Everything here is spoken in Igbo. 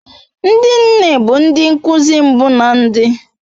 Ndi nne bu ndi nkuzi mmbu na ndi